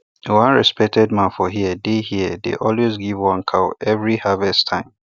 one respected man for here dey here dey always give one cow every harvest time